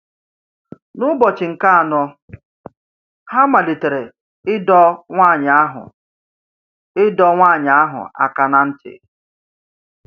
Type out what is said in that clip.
N’ụbọchị nke anọ, ha malitere ịdọ nwanyị ahụ ịdọ nwanyị ahụ aka ná ntị.